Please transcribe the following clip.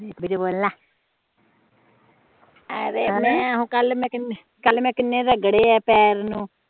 ਕਲ ਮੈ ਕੀਨੇ ਤਾ ਰਗੜੇ ਆ ਪੈਰ ਨੂੰ